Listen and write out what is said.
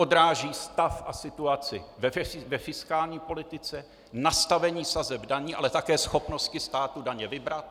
Odráží stav a situaci ve fiskální politice, nastavení sazeb daní, ale také schopnosti státu daně vybrat.